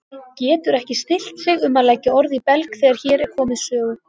Getur ekki stillt sig um að leggja orð í belg þegar hér er komið sögu.